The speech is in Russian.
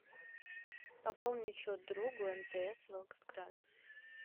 пополнить счет другу мтс волгоград